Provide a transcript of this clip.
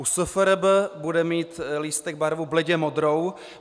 U SFRB bude mít lístek barvu bledě modrou.